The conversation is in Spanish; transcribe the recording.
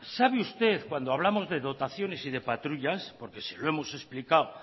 sabe usted cuando hablamos de dotaciones y de patrullas porque se lo hemos explicado